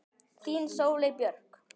Þín Sóley Björk